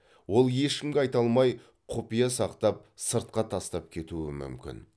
ол ешкімге айта алмай құпия сақтап сыртқа тастап кетуі мүмкін